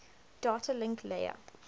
data link layer